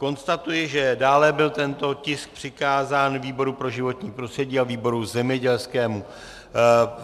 Konstatuji, že dále byl tento tisk přikázán výboru pro životní prostředí a výboru zemědělskému.